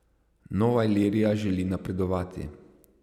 Nova Ilirija želi napredovati.